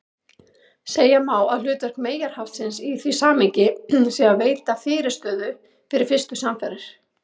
Segja má að hlutverk meyjarhaftsins í því samhengi sé að veita fyrirstöðu við fyrstu samfarir.